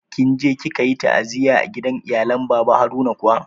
Kinje kikayi ta'aziyya a gidan iyalen baba Haruna kuwa?